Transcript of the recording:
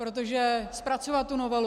Protože zpracovat tu novelu...